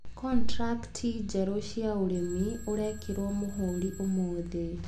Contracti njerũ cia ũrĩmi ũrekĩrwo mũhũri ũmũthĩ.